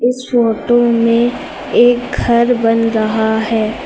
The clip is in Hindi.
इस फोटो में एक घर बन रहा है।